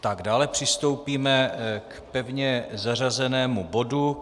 Dále přistoupíme k pevně zařazenému bodu